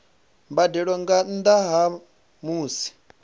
mbadelo nga nnda ha musi